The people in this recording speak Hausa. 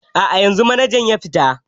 A'a, yanzu manajan ya fita.